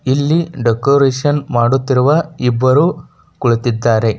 ಇಲ್ಲಿ ಡೆಕೋರೇಷನ್ ಮಾಡುತ್ತಿರುವ ಇಬ್ಬರು ಕುಳಿತಿದ್ದಾರೆ.